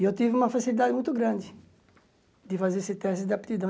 E eu tive uma facilidade muito grande de fazer esse teste de aptidão.